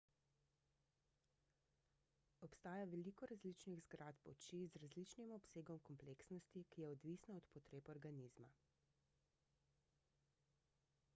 obstaja veliko različnih zgradb oči z različnim obsegom kompleksnosti ki je odvisna od potreb organizma